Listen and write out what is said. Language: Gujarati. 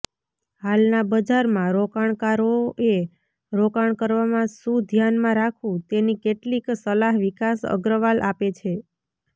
હાલના બજારમાં રોકાણકારોએ રોકાણ કરવામાં શું ધ્યાનમાં રાખવું તેની કેટલીક સલાહ વિકાસ અગ્રવાલ આપે છે